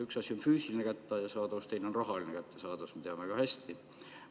Üks asi on füüsiline kättesaadavus, teine on rahaline kättesaadavus, me teame väga hästi.